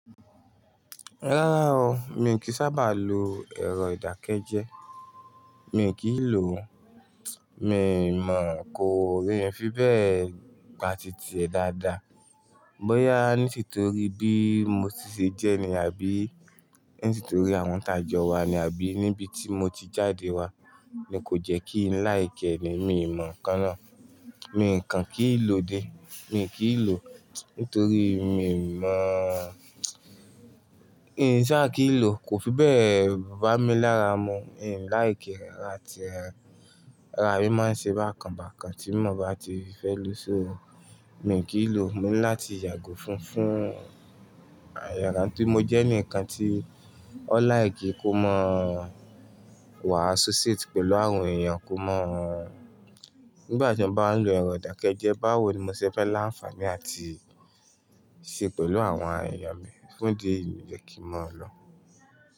Rárá o, mi i kí sábà lo ẹ̀rọ ìdákẹ́jẹ́. Mi i kí i lò ó. Mi mọ̀ kó mí i fi bẹ́ẹ̀ gba titi ẹ dáadáa. Bóyá níti torí bí mo ti ṣe jẹ́ ni àbí nítorí àwọn tá jo wa ni àbí níbi tí mo ti jáde wá, ni kò jẹ́ kí ńl like ẹni mi mọ̀ kán náà. Mi kàn kí ń lò ó dé. Mi i kí i lò ó nítorí mi mọ̀, n sa kí ń lò ó kò fi bẹ́ẹ̀ bà mí lára mu. Mi i like e rárá àti rárá. Ara mi máa ń ṣe bákan bákan tí mo bá ti fẹ́ lò ó. So mi ò kí ń lò ó, mi ní láti yàgò fún fún iyàrá tí mo jẹ́ ní ǹkan tí ó láì kí kó mọ̀ wàa bawọn eyan ṣe pọ pẹ̀lú àwọn èèyàn kó mọ̀ nígbà tí wọ́n bá ń lo ẹ̀rọ ìdákẹ́jẹ́ báwo ni mo ṣe fẹ́ láǹfààní àti ṣe pẹ̀lú àwọn èyàn mi fún di ìdí jẹ kí mọ̀ ọ́n lọ.